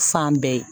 Fan bɛɛ ye